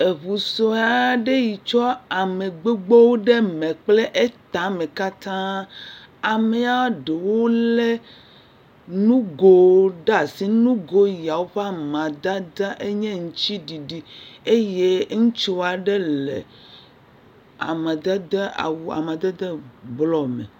Ŋu sue aɖe yi tsɔ ame gbogbowo ɖe me kple etama katã, ame ɖewo lé nugowo ɖe asi, nugo yawo ƒe amadede nye aŋuti ɖiɖi eye ŋutsu aɖe le awu amadede blɔ me.